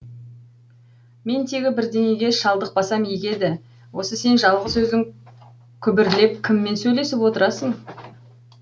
мен тегі бірдеңеге шалдықпасам игі еді осы сен жалғыз өзің күбірлеп кіммен сөйлесіп отырасың